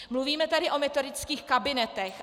Mluvíme tady o metodických kabinetech.